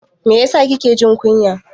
Mai yasa kike jin kunya?